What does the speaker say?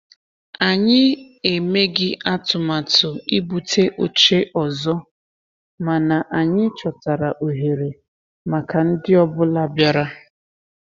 Anyị emeghị atụmatụ ibute oche ọzọ, mana anyị chọtara ohere maka ndi ọ bụla bịara.